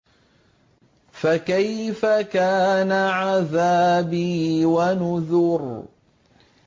فَكَيْفَ كَانَ عَذَابِي وَنُذُرِ